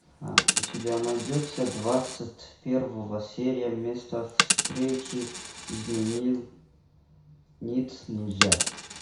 у тебя найдется двадцать первая серия место встречи изменить нельзя